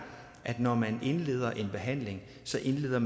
at når man indleder en behandling så indleder